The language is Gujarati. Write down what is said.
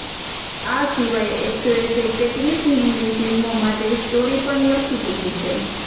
આ સિવાય એક્ટ્રેસે કેટલીક હિંદી ફિલ્મો માટે સ્ટોરી પણ લખી ચૂકી છે